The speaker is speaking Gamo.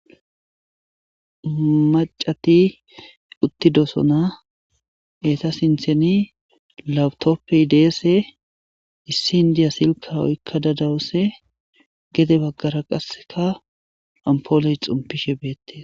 Macati uttidosona eeta sintheni lawutoppey deese issi indiya silka oykka dadawuse gede baggara qasseka ampooloy xumpishe beette